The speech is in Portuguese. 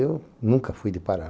Eu nunca fui de parar.